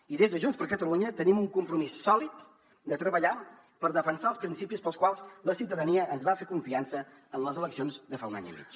i des de junts per catalunya tenim un compromís sòlid de treballar per defensar els principis pels quals la ciutadania ens va fer confiança en les eleccions de fa un any i mig